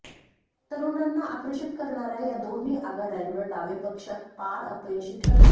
तरुणांना आकर्षित करणाऱ्या या दोन्ही आघाड्यांवर डावे पक्ष पार अपयशी ठरले